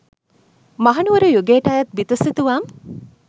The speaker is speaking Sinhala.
මහනුවර යුගයට අයත් බිතු සිතුවම්